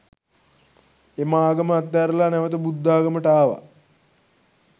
එම ආගම අත් හැරලා නැවත බුද්ධාගමට ආව.